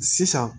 Sisan